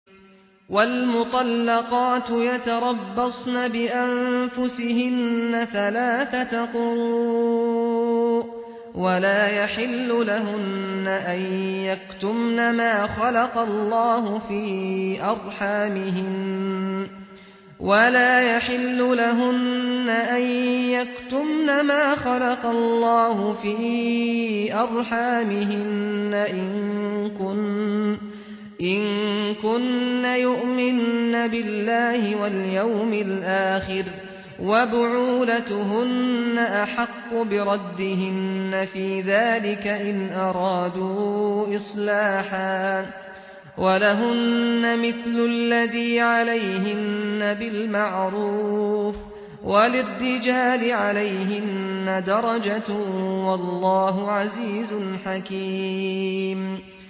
وَالْمُطَلَّقَاتُ يَتَرَبَّصْنَ بِأَنفُسِهِنَّ ثَلَاثَةَ قُرُوءٍ ۚ وَلَا يَحِلُّ لَهُنَّ أَن يَكْتُمْنَ مَا خَلَقَ اللَّهُ فِي أَرْحَامِهِنَّ إِن كُنَّ يُؤْمِنَّ بِاللَّهِ وَالْيَوْمِ الْآخِرِ ۚ وَبُعُولَتُهُنَّ أَحَقُّ بِرَدِّهِنَّ فِي ذَٰلِكَ إِنْ أَرَادُوا إِصْلَاحًا ۚ وَلَهُنَّ مِثْلُ الَّذِي عَلَيْهِنَّ بِالْمَعْرُوفِ ۚ وَلِلرِّجَالِ عَلَيْهِنَّ دَرَجَةٌ ۗ وَاللَّهُ عَزِيزٌ حَكِيمٌ